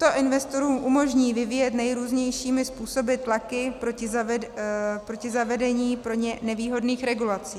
To investorům umožní vyvíjet nejrůznějšími způsoby tlaky proti zavedení pro ně nevýhodných regulací.